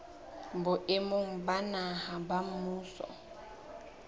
boemong ba naha ba mmuso